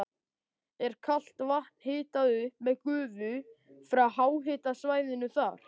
Er kalt vatn hitað upp með gufu frá háhitasvæðinu þar.